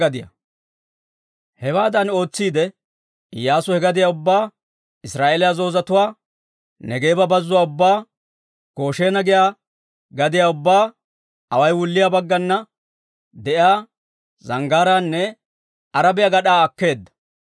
Hewaadan ootsiidde Iyyaasu he gadiyaa ubbaa, Israa'eeliyaa zoozatuwaa, Neegeeba Bazzuwaa ubbaa, Goshena giyaa gadiyaa ubbaa, away wulliyaa baggana de'iyaa zanggaaraanne Arabiyaa gad'aa akkeedda.